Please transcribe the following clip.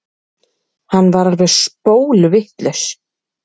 Hann var alveg spólvitlaus.